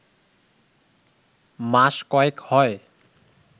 মাস কয়েক হয়